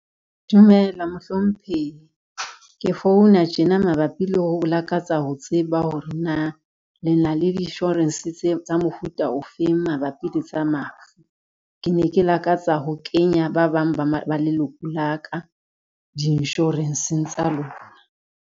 Dumela mohlomphehi. Ke founa tjena mabapi le ho lakatsa ho tseba hore na le na le di-insurance tsa mofuta ofeng mabapi le tsa mafu. Ke ne ke lakatsa ho kenya ba bang ba leloko la ka di-insurance-ng tsa lona.